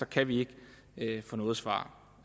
kan vi ikke få noget svar